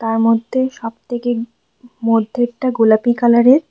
তার মধ্যে সবথেকে মধ্যেরটা গোলাপি কালারের ।